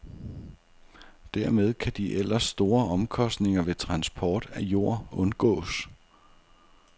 Dermed kan de ellers store omkostninger ved transport af jord undgås.